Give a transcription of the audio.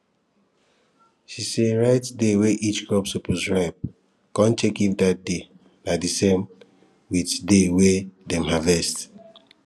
she sey write day wey each crop suppose ripe con check if that day na di same with day wey dem harvest